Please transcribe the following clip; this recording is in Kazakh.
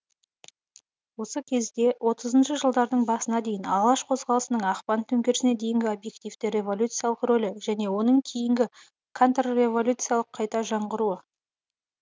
осы кезде отызыншы жылдардың басына дейін алаш қозғалысының ақпан төңкерісіне дейінгі объективті революциялық рөлі және оның кейінгі контрреволюциялық қайта жанғыруы